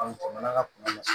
jamana ka kunna